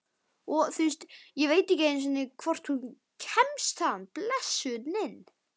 Og ég veit ekki hvort hún kemst þaðan, blessunin.